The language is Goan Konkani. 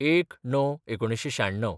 ०१/०९/ १९९६